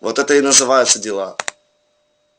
вот это и называется дела